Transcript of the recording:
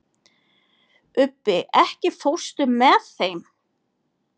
Ubbi, ekki fórstu með þeim?